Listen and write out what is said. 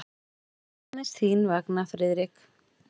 Aðeins þín vegna, Friðrik.